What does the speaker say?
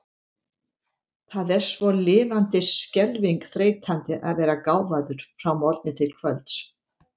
Það er svo lifandis skelfing þreytandi að vera gáfaður frá morgni til kvölds.